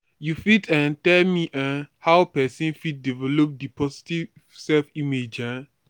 you fit um tell me um how pesin fit develop di positive self-image? um